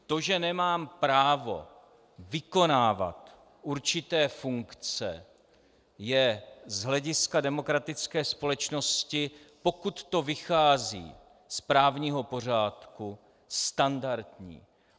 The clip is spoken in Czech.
To, že nemám právo vykonávat určité funkce, je z hlediska demokratické společnosti, pokud to vychází z právního pořádku, standardní.